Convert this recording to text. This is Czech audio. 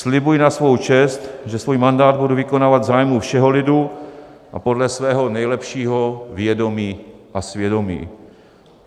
Slibuji na svou čest, že svůj mandát budu vykonávat v zájmu všeho lidu a podle svého nejlepšího vědomí a svědomí.